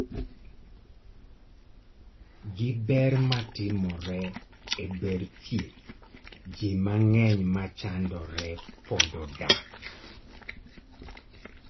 gi ber matimore e ber thieth, jii mang'eny machandore pod odak